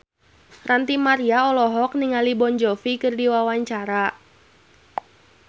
Ranty Maria olohok ningali Jon Bon Jovi keur diwawancara